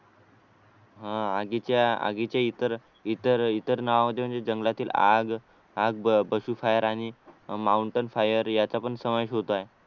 हा आगीच्या आगीच्या इतर इतर नावाचे म्हणजे जंगलातील जंगलातील आग आग पशु फायर आणि माऊंटन फायर याचा पण समावेश होतो आहे